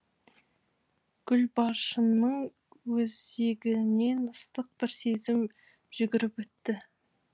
гүлбаршынның өзегінен ыстық бір сезім жүгіріп өтті